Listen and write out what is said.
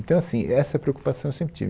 Então, assim, essa preocupação eu sempre tive.